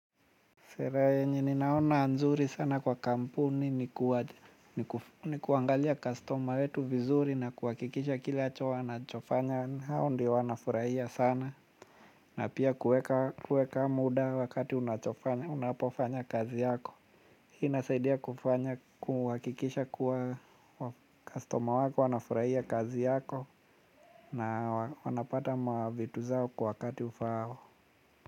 Sherehe yenye ninaona nzuri sana kwa kampuni ni kuangalia kastoma wetu vizuri na kuhakikisha kileacho wanachofanya hao ndo wanafurahia sana. Na pia kuweka muda wakati unapofanya kazi yako. Inasaidia kufanya kuhakikisha kuwa kastoma wako wanafurahia kazi yako na wanapata ma vitu zao kwa wakati ufaao.